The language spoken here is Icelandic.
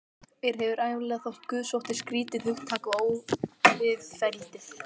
Mér hefur ævinlega þótt guðsótti skrýtið hugtak og óviðfelldið.